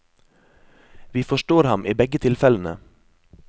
Vi forstår ham i begge tilfellene.